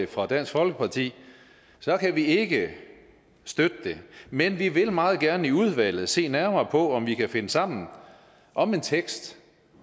fra dansk folkeparti kan vi ikke støtte det men vi vil meget gerne i udvalget se nærmere på om vi kan finde sammen om en tekst